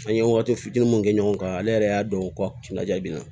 An ye waati fitinin mun kɛ ɲɔgɔn kan ale yɛrɛ y'a dɔn ko kunda min na